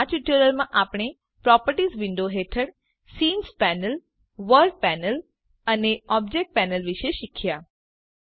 તો આ ટ્યુટોરીયલમાં આપણે પ્રોપર્ટીઝ વિન્ડો હેઠળ સીન પેનલ વર્લ્ડ પેનલ અને ઓબ્જેક્ટ પેનલ વિષે શીખ્યા